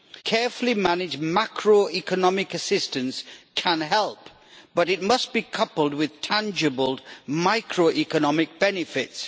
Carefully managed macroeconomic assistance can help, but it must be coupled with tangible microeconomic benefits.